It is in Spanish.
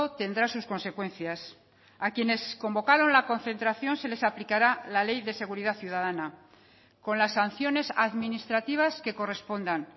tendrá sus consecuencias a quienes convocaron la concentración se les aplicará la ley de seguridad ciudadana con las sanciones administrativas que correspondan